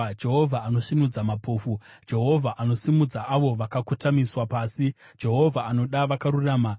Jehovha anosvinudza mapofu, Jehovha anosimudza avo vakakotamiswa pasi, Jehovha anoda vakarurama.